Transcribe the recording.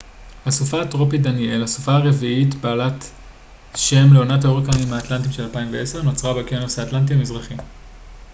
הסופה הטרופית דניאל הסופה הרביעית בעלת שם לעונת ההוריקנים האטלנטיים של 2010 נוצרה באוקיינוס האטלנטי המזרחי